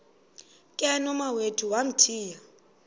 ke nomawethu wamthiya